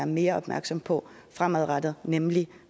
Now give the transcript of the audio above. mere opmærksom på fremadrettet nemlig